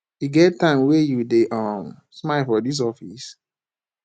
e get time wey you dey um smile for dis office